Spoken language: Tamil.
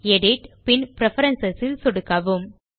எடிட் பின் பிரெஃபரன்ஸ் இல் சொடுக்குக